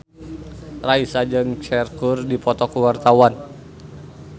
Raisa jeung Cher keur dipoto ku wartawan